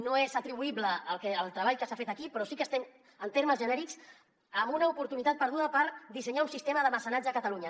no és atribuïble al treball que s’ha fet aquí però sí que estem en termes genèrics amb una oportunitat perduda per dissenyar un sistema de mecenatge a catalunya